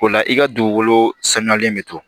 O la i ka dugukolo sanuyalen bɛ to